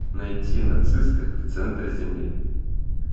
найти нацисты в центре земли